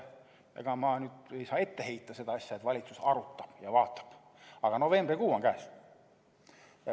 Ega ma ei saa ette heita seda, et valitsus arutab ja vaatab, aga novembrikuu on käes.